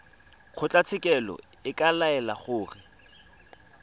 kgotlatshekelo e ka laela gore